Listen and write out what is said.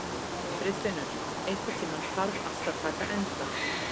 Friðfinnur, einhvern tímann þarf allt að taka enda.